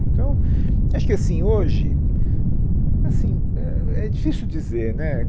Então, eu acho que assim, hoje, assim é, é difícil dizer, né?